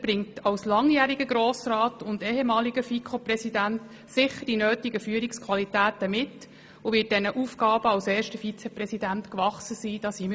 Er bringt als langjähriger Grossrat und ehemaliger FiKo-Präsident sicher die nötigen Führungsqualitäten mit, und wir sind davon überzeugt, dass er den Aufgaben als erster Vizepräsident gewachsen sein wird.